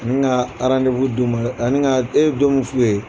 Nin ka d'u ma ani ka e ye don min f'u ye.